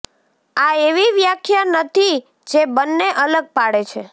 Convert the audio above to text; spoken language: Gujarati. આ એવી વ્યાખ્યા નથી જે બેને અલગ પાડે છે